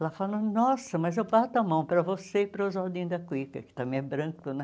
Ela falou, nossa, mas eu bato a mão para você e para o Oswaldinho da Cuica, que também é branco, né?